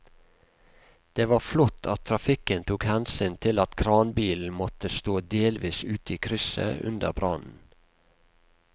Det var flott at trafikken tok hensyn til at kranbilen måtte stå delvis ute i krysset under brannen.